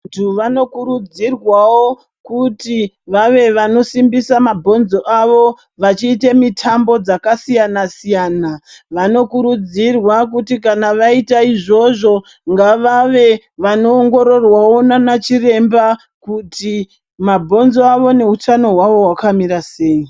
Vantu vanokurudzirwawo kuti vave vanosimbisa mabhonzo avo vachiite mitambo dzakasiyana siyana. Vanokurudzirwa kuti kana vaita izvozvo ngavave vanoongororwawo naana chiremba kuti mabhonzo avo neutano hwavo hwakamira sei.